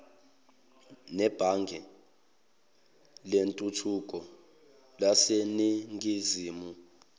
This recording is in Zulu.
nebhange lentuthuko laseningizimu